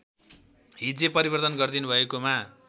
हिज्जे परिवर्तन गरिदिनुभएकोमा